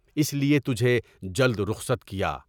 اس لیے تجھے جلد رخصت کیا۔